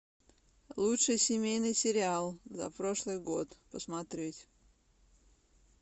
лучший семейный сериал за прошлый год посмотреть